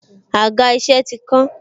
Àga isẹ ti kán.